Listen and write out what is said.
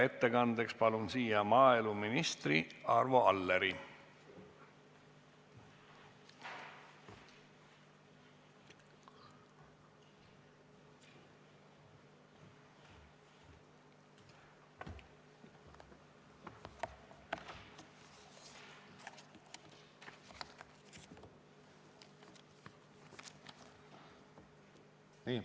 Ettekandeks palun siia maaeluminister Arvo Alleri!